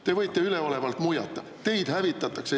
Te võite üleolevalt muiata, teid hävitatakse.